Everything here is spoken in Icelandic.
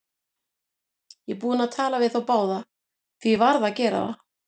Ég er búinn að tala við þá báða, því ég varð að gera það.